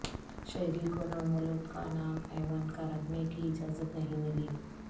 شہری کو نومولود کا نام ایوانکا رکھنے کی اجازت نہیں ملی